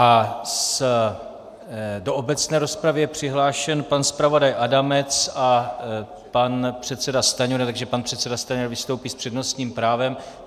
A do obecné rozpravy je přihlášen pan zpravodaj Adamec a pan předseda Stanjura, takže pan předseda Stanjura vystoupí s přednostním právem.